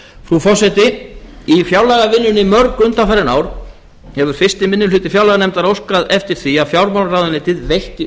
frú forseti í fjárlagavinnunni mörg undanfarin ár hefur fyrsti minni hluti fjárlaganefndar óskað eftir því að fjármálaráðuneytið veitti